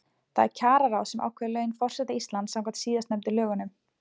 Það er kjararáð sem að ákveður laun forseta Íslands samkvæmt síðastnefndu lögunum.